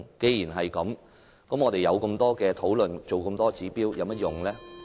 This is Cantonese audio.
既然如此，我們進行這麼多討論，制訂這麼多指標又有何用？